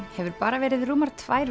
hefur bara verið rúmar tvær